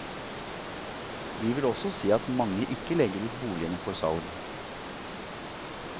Vi vil også se at mange ikke legger ut boligene for salg.